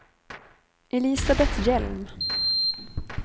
Elisabeth Hjelm